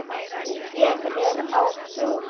Ég er á fundi